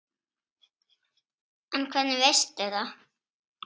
En hvernig veistu það?